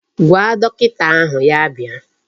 Gwa dọkịta ahụ ya bịa.